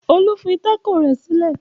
Olu fi tákò rẹ̀ sílẹ̀.